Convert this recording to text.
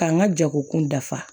K'an ka jagokun dafa